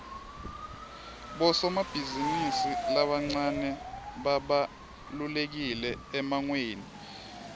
bosomabhizimisi labancane babalulekile emangweni